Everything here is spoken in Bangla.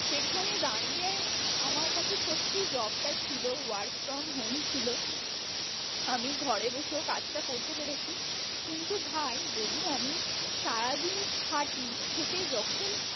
সেখানে দাঁড়িয়ে আমার কাছে সত্যি job টা ছিল work from home ছিল আমি ঘরে বসেও কাজটা করতে পেরেছি, কিন্তু ভাই যদি আমি সারাদিন খাটি খেটে যখন